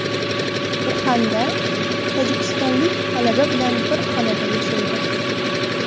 Uxanda tojikistonlik talaba bilan bir xonada yashaydi.